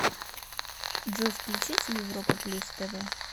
джой включите европа плюс тв